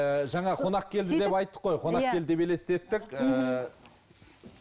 ііі жаңа қонақ келді деп айттық қой иә конақ келді деп елестеттік ііі